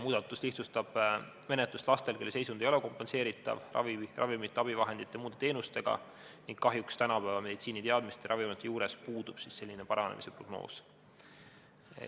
Ühtlasi lihtsustab muudatus menetlust laste puhul, kelle seisund ei ole kompenseeritav ravimite, abivahendite ja muude teenustega ning kellel kahjuks tänapäeva meditsiiniteadmisi ja ravimeid arvestades puudub paranemise prognoos.